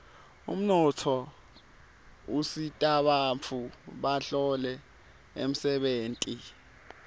umnotfo usitabantfu batfole umsebenti